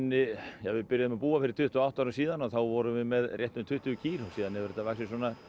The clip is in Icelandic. við byrjuðum að búa fyrir tuttugu og átta árum síðan og þá vorum við með rétt um tuttugu kýr síðan hefur þetta vaxið